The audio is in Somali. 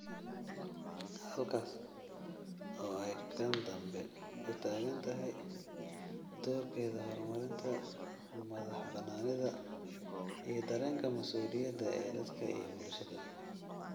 Halkaas oo ay kan dambe u taagan tahay doorkeeda horumarinta madaxbannaanida iyo dareenka mas'uuliyadda ee dadka iyo bulshada.